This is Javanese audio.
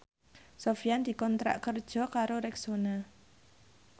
Sofyan dikontrak kerja karo Rexona